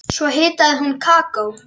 Svo hitaði hún kakó.